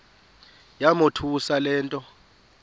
yamothusa le nto